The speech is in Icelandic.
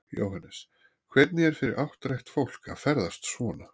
Jóhannes: Hvernig er fyrir áttrætt fólk að ferðast svona?